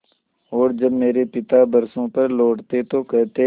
और जब मेरे पिता बरसों पर लौटते तो कहते